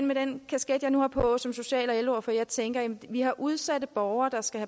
med den kasket jeg nu har på som social og ældreordfører tænker vi har udsatte borgere der skal